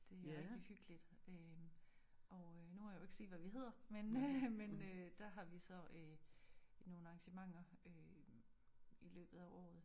Det er rigtig hyggeligt øh og øh nu må jeg jo ikke sige hvad vi hedder men øh men øh der har vi så nogle arrangementer i løbet af året